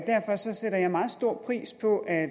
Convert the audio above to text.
derfor sætter jeg meget stor pris på at